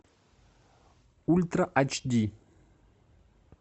ультра айч ди